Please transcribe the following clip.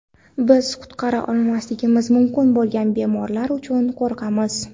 Biz qutqara olmasligimiz mumkin bo‘lgan bemorlar uchun qo‘rqamiz.